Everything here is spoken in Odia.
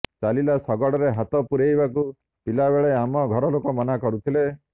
ଚାଲିଲା ଶଗଡ଼ରେ ହାତ ପୂରେଇବାକୁ ପିଲାବେଳେ ଆମ ଘର ଲୋକ ମନା କରୁଥିଲେ